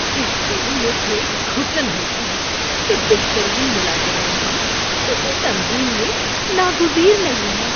اس سے مجھے گھٹن ہوتی ہے کہ بہترین ملازمین بھی کسی تنظیم میں ناگزیر نہیں ہیں۔